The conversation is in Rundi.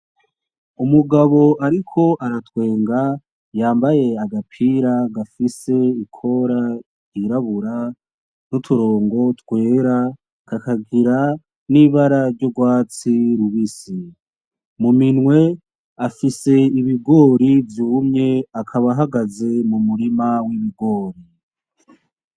Umugabo ariko aratwenga yambaye agapira gafise ikora yirabura n'uturongo twera kakagira nibara ry'urwatsi rubisi ,muminwe afise ibigori vyumye akaba ahagaze mumurima w'ibigori